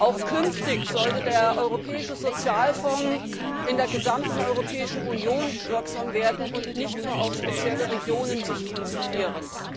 Auch künftig sollte der Europäische Sozialfonds in der gesamten Europäischen Union wirksam werden und sich nicht nur auf spezielle Regionen konzentrieren.